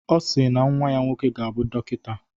Ọ si na nnwa ya nwoke ga-abụ dọkịta.